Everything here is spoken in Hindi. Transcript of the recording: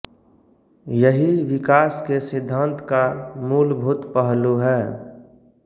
यही विकास के सिद्धांत का मूलभूत पहलू है